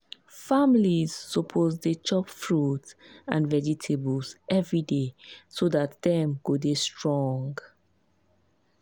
families suppose to dey chop fruit and vegetables every day so dat dem go dey strong.